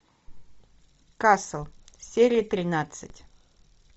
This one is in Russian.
касл серия тринадцать